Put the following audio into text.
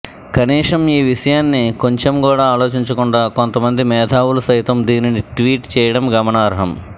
కనీసం ఈ విషయాన్ని కొంచెం కూడా ఆలోచించకుండా కొంత మంది మేధావులు సైతం దీనిని ట్వీట్ చేయడం గమనార్హం